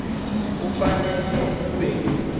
kufanele ube